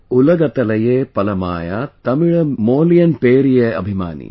नान उलगतलये पलमायां तमिल मोलियन पेरिये अभिमानी |